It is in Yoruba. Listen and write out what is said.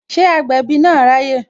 Ṣé agbẹ̀bí na ráyè?